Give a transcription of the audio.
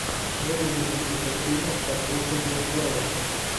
выведи мне список фильмов с актрисой гленн клоуз